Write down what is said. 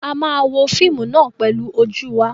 A máa wo fíímù náà pẹlu ojú wa.